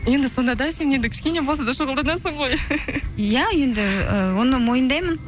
енді сонда да сен енді кішкене болса да шұғылданасың ғой иә енді ы оны мойындаймын